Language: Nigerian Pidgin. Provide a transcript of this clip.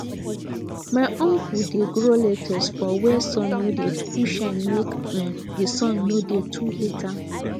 my uncle dey grow lettuce for where sun no dey too shine make um the sun no dey too heat am